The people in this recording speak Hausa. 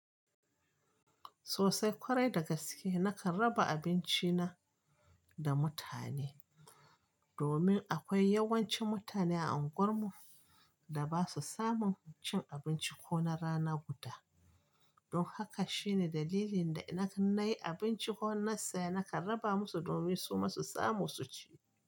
Sosai kwarai da gaske nakan raba abinci na da mutane, domin akwai yawanci mutane a anguwar mu da basu samun cin abunci ko na rana guda. Don haka shine dalilin da nakan nayi abinci ko na saya, nakan raba musu domin suma su samu su ci.